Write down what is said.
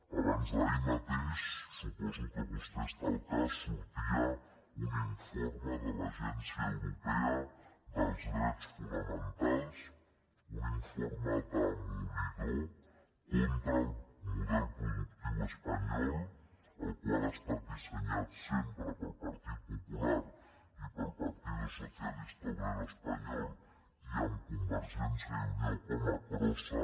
abans d’ahir mateix suposo que vostè n’està al cas sortia un informe de l’agència europea dels drets fonamentals un informe demolidor contra el model productiu espanyol el qual ha estat dissenyat sempre pel partit popular i pel partido socialista obrero español i amb convergència i unió com a crossa